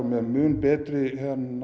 með mun betri